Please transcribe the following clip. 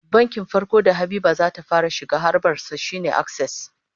Bankin farko da Habiba za ta fara shiga harabar sa shine Access